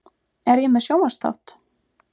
Er ég með sjónvarpsþátt?